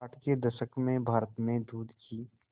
साठ के दशक में भारत में दूध की